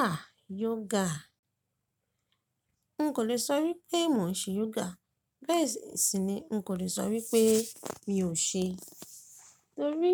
Ah yoga, n kò lè sọ wí pé mò ń ṣe yoga, bẹ́ẹ̀ sì ni n kò lè sọ wí pé mi ò ṣe, torí